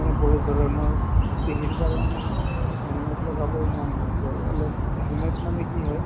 মানে বহুত ধৰণৰ কাৰণে মানে helmet লগাবও মন নাযায় অলপ helmet মানে কি হয়